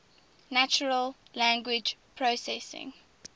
natural language processing